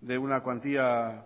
de una cuantía